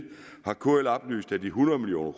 har kl oplyst at de hundrede million